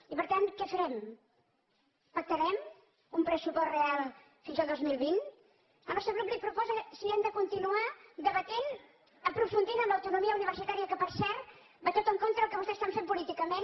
i per tant què farem pactarem un pressupost real fins al dos mil vint el nostre grup li proposa si hem de continuar debatent aprofundir en l’autonomia universitària que per cert va tot en contra del que vostès van fent políticament